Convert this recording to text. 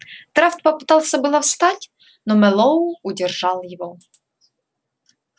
драфт попытался было встать но мэллоу удержал его